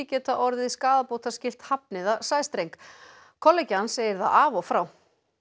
geta orðið skaðabótaskylt hafni það sæstreng kollegi hans segir það af og frá